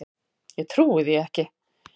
Ég trúi því ekki!